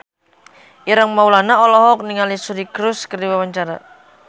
Ireng Maulana olohok ningali Suri Cruise keur diwawancara